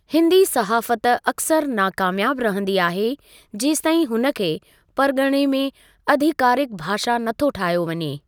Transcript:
हिंदी सहाफ़ति अक्सर नाकामयाबु रहंदी आहे जेसिताईं हुन खे परिगि॒णे में आधिकारिकु भाषा नथो ठाहियो वञे ।